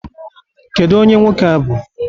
Kedu onye nwoke a bụ?